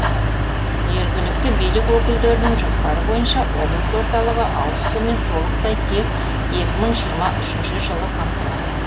жергілікті билік өкілдерінің жоспары бойынша облыс орталығы ауызсумен толықтай тек екі мың жиырма үшінші жылы қамтылады